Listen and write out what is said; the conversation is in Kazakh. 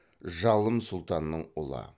жалым сұлтанның ұлы